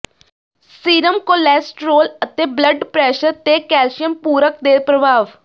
serum cholesterol ਅਤੇ blood pressure ਤੇ calcium ਪੂਰਕ ਦੇ ਪ੍ਰਭਾਵ